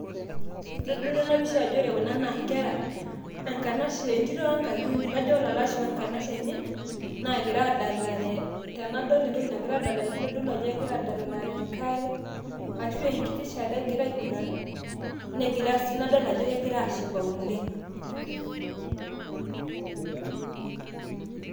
kitodolu ena pisha ajo ore kuna naa nkera, enkanashe entoto we nkayioni, kajo olalashe we nkanashe enye, naagira aadalare, tenadol entoki nagira aadalere naa enkare ashu enkiti saa ake egira aing'uran negira sii, nadol ajo egira aashipa oleng'